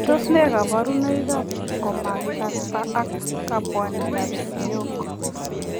Tos nee kabarunoik ap komakikastaa ak kabwanet ap siyok